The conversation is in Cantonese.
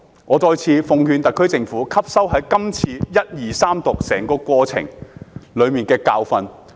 我再次奉勸特區政府吸收整個首讀、二讀、三讀過程中的教訓。